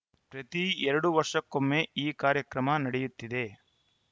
ಪ್ರತಿ ಎರಡು ವರ್ಷಕ್ಕೊಮ್ಮೆ ಈ ಕಾರ್ಯಕ್ರಮ ನಡೆಯುತ್ತಿದೆ